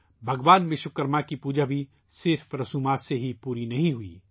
بھگوان وشوکرما کی پوجا بھی صرف رسموں سے ہی پوری نہیں ہوئی